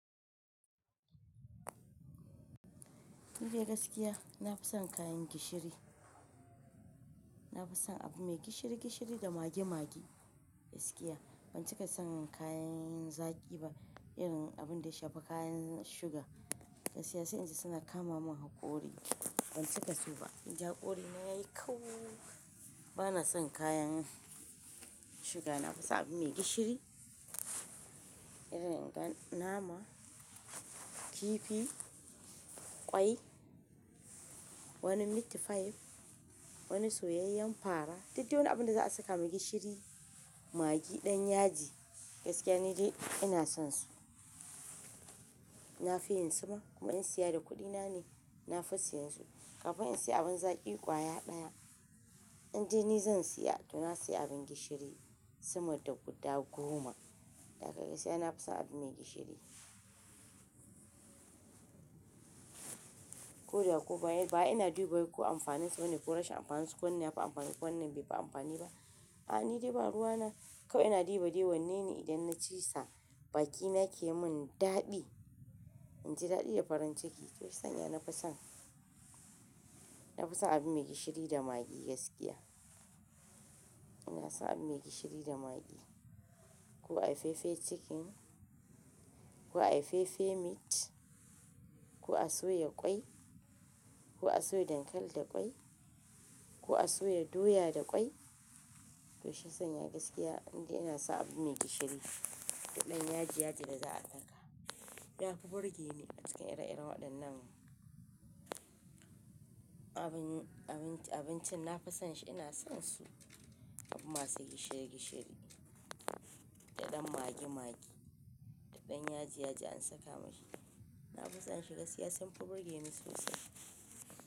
Ni dai gaskiya na fi son kayan gishiri. Na fi son abu mai gishiri gishiri da magi magi gaskiya. Ban cika son kayan zaki ba irin abun da shafi kayan suga. Gaskiya sai inji suna kama mun hakori ban cika so ba. Inji hakori na yayi kau. Bana son kayan suga. Na fi son abu mai gishiri irin ga nama, kifi, ƙwai, wani meat pie, wani soyayyen fara. Duk de wani abinda za a saka mai gishiri, magi ɗan yaji gaskiya ni dai ina son su. Na fi yin suma kuma in siya da kuɗi na ne, na fi siyansu. Kafin in siya abin zaki ƙwaya ɗaya, inde ni zan siya to na siya abin gishiri suma da guda goma. Gaskiya na fi son abu mai gishiri. Ko da ko ba yi ba ina duba ko amfanin su bane ko rashin amfanin su. Wannan yafi amfani wannan bai fi amfani ba. A'a ni dai ba ruwa na. Kawai ina diba diba wannan ne idan na ci sa bakina ke mun daɗi. Inji daɗi da farin ciki. Tashi sanya na fi son, na fi son abu mai gishiri da magi gaskiya. Ina son abu mai gishiri da magi. Ko a yi fefe cikin, ko a yi fefe meat, ko a soya ƙwai, ko a soya dankali da ƙwai, ko a soya doya da ƙwai. Tashi sanya gaskiya nide ina son abu mai gishiri da ɗan yaji yaji da za a saka. Ya fi burge ni acikin ire-iren waɗannan abin, abinci, abincin na fi son shi ina son su. Abu masu gishiri gishiri da ɗan magi magi, da ɗan yaji yaji an saka mashi. Na fi son shi gaskiya sun fi burge ni sosai.